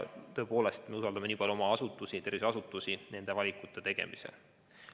Aga me usaldame oma tervishoiuasutusi nende valikute tegemisel.